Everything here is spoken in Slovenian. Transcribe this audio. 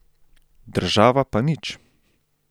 Država pa nič.